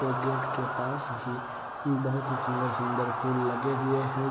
ये गेट के पास ही बहुत ही सुंदर-सुंदर फूल लगे हुए हैं ।